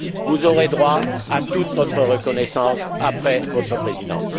vous aurez droit à toute notre reconnaissance après votre Présidence.